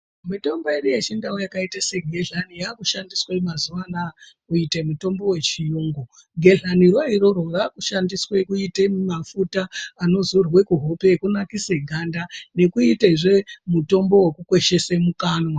Mitombo yedu yechiNdau yakaite segehlani yaakushandiswe mazuva anaya kuite mutombo wechiyungu. Gehlaniro iroro raakushandiswe kuite mafuta anodzorwe kuhope ekunakise ganda nekuitezve mutombo wokukweshese mukanwa.